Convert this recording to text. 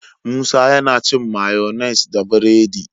Musa yAna cin mayonnaise da buredi